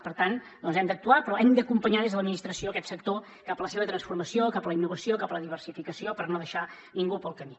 per tant hem d’actuar però hem d’acompanyar des de l’administració aquest sector cap a la seva transformació cap a la innovació cap a la diversificació per no deixar ningú pel camí